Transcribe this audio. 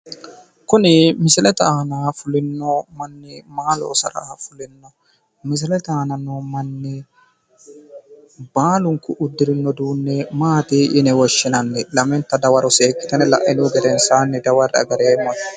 Kuni misilete aana fulino manni maa loosara fulino? Misilete aana noo manni baalunku uddirino uduunne maati yine woshshinanni? Lamenta dawaro seekkitine la'inihu gedensaanni dawarre"e agareemmona.